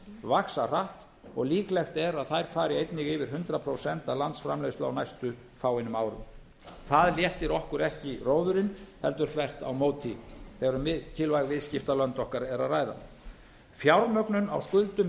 vaxa hratt og líklegt er að þær fari einnig yfir hundrað prósent af landsframleiðslu á næstu fáeinum árum það léttir okkur ekki róðurinn heldur þvert á móti þegar um mikilvæg viðskiptalönd okkar er að ræða fjármögnun á skuldum